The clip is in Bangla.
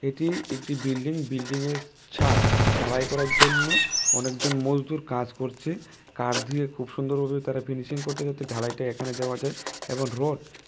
এটি একটি বিল্ডিং বিল্ডিংয়ের ছাদ ঢালাই করার জন্য অনেকজন মজদুর কাজ করছে কাঠ ধুয়ে খুব সুন্দরভাবে তারা ফিনিশিং করছে যাতে ঢালাই টা এখানে দেওয়া যায় এবং রড --